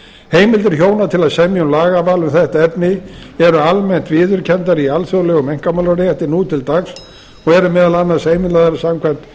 heimildir hjóna til að semja um lagaval um þetta efni eru almennt viðurkenndar í alþjóðlegum einkamálarétti nú til dags og eru meðal annars heimilaðar samkvæmt